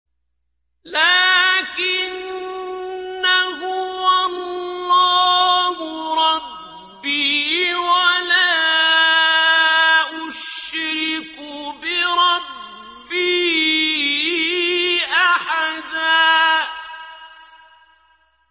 لَّٰكِنَّا هُوَ اللَّهُ رَبِّي وَلَا أُشْرِكُ بِرَبِّي أَحَدًا